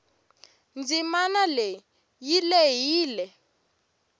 ndzimanaleyi yilehile